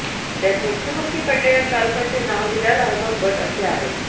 त्यात मृत्युमुखी पडलेल्या चालकाचे नाव हिलाल अहमद बट असे आहे